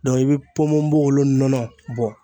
i bɛ ponponpogolon nɔnɔ bɔ